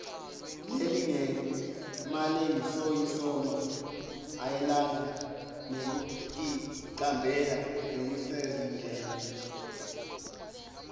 lelingemalengisoisomayelana nekuticambela lokusezingeni